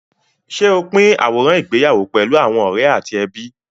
Ṣé o pín àwòrán ìgbéyàwó pẹ̀lú àwọn ọ̀rẹ́ àti ẹbí?